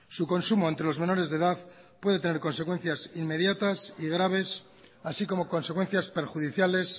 su consumo ante los menores de edad puede tener consecuencias inmediatas y graves así como consecuencias perjudiciales